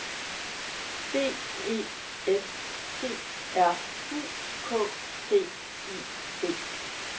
D E S T R U K T I V